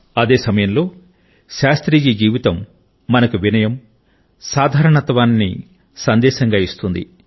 అదే సమయంలో శాస్త్రీజీ జీవితం మనకు వినయం సింప్లిసిటీ లను సందేశంగా ఇస్తుంది